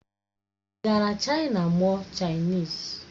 Ị gara Chaina mụọ Chainisi?